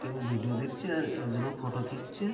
কেউ ভিডিও দেখছে। আর একজন এ ফটো খিঁচছে।